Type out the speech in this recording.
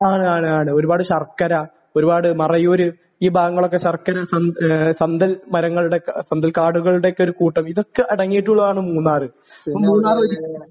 ആണ്. ആണ്. ആണ്. ഒരുപാട് ശർക്കര. ഒരുപാട്...മറയൂർ. ഈ ഭാഗങ്ങളൊക്കെ ശർക്കര സന്ത് സന്തൽ മരങ്ങളുടെ സന്തൽ കാടുകളുടെയൊക്കെ ഒരു കൂട്ടം. ഇതൊക്കെ അടങ്ങിയിട്ടുള്ളതാണ് മൂന്നാർ. ഇപ്പോൾ മൂന്നാർ ഒരു